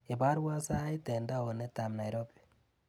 Ibarwa sait eng taonitab Nairobi.